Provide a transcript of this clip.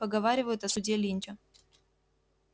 поговаривают о суде линча